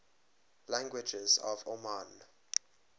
languages of oman